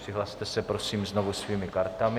Přihlaste se prosím znovu svými kartami.